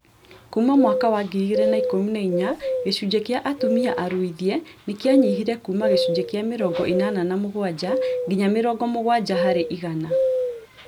Kuuma mwaka wa 2014 gĩcunjĩ kĩa atumia aruithie nĩ kĩanyihire kuuma gĩcunjĩ kĩa mĩrongo ĩnana na mũgwanja nginya mĩrongo mũgwanja harĩ igana